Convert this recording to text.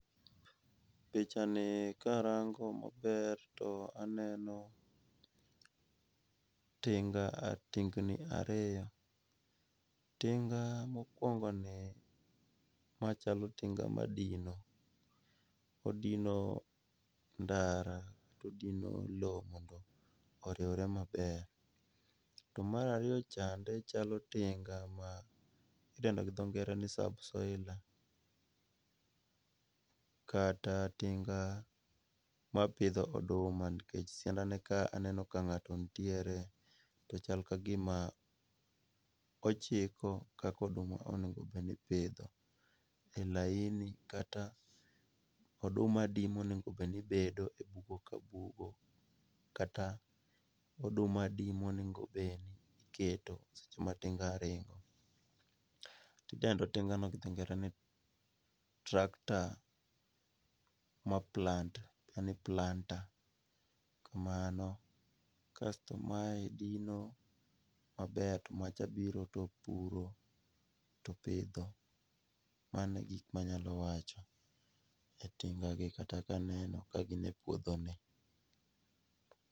Picha ni ka arango maber to aneno tinga tingni ariyo. Tinga mokuongoni machalo tinga madino, odino ndara odino lowo mondo oriwre maber. To mar ariyo chande chalo tinga ma idendo gi dho ngere ni subsoiler kata tinga mapidho oduma nikech siandane ka aneno ka ng'ato nitiere to chal kagima ochiko kaka oduma onego bed ni ipidho e laini kata oduma adi monego bed ni bedo e bugo ka bugo, kata oduma adi monego bed ni iketo seche ma tinga ringo. Idendo tinga no gi dho ngere ni tractor ma plant en planter kaeto mae dino maber to macha biro to puro to pidho. Mago e gik manyalo wacho ni tingang kata ka aneno ni gin e puodho ni